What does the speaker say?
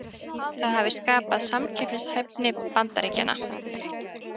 Það hafi skaðað samkeppnishæfni Bandaríkjanna